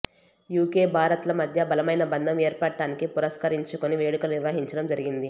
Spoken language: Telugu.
యూకే భారత్ల మధ్య బలమైన బంధం ఏర్పడటాన్ని పురస్కరించుకుని వేడుకలు నిర్వహించడం జరిగింది